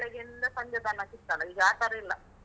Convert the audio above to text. ಬೆಳಗ್ಗಿಂದ ಸಂಜೆ ತನಕ ಇತ್ತಲ್ಲ, ಈಗ ಆ ತರ ಇಲ್ಲ.